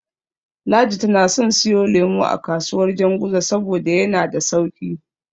Ladi tana son siyo lemo a kasuwar Janguza saboda yana da sauƙi.